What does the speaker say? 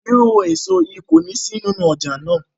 Iru eso yii koni si ninu ọja naa